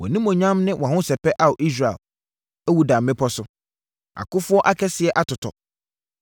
“Wʼanimuonyam ne wʼahosɛpɛ, Ao Israel, awu da mmepɔ so! Akofoɔ akɛseɛ atotɔ!